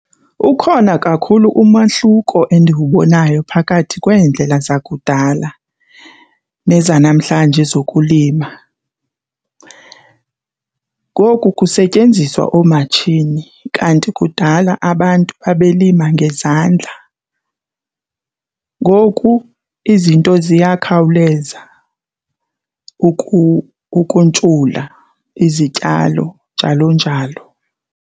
Ukhona kakhulu umahluko endiwubonayo phakathi kweendlela zakudala nezanamhlanje zokulima. Ngoku kusetyenziswa oomatshini kanti kudala abantu babelima ngezandla ngoku izinto ziyakhawuleza ukuntshula izityalo, njalo njalo.